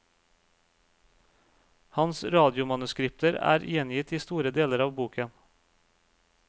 Hans radiomanuskripter er gjengitt i store deler av boken.